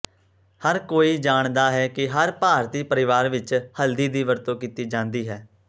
ਹਰ ਕੋਈ ਜਾਣਦਾ ਹੈ ਕਿ ਹਰ ਭਾਰਤੀ ਪਰਿਵਾਰ ਵਿਚ ਹਲਦੀ ਦੀ ਵਰਤੋਂ ਕੀਤੀ ਜਾਂਦੀ ਹੈ